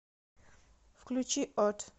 включи от